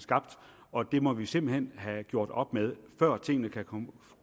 skabt og det må vi simpelt hen have gjort op med før tingene kan